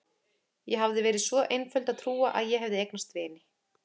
Ég hafði verið svo einföld að trúa að ég hefði eignast vini.